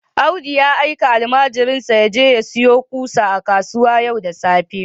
Audu ya aika almajirinsa ya je sayo ƙusa a kasuwa yau da safe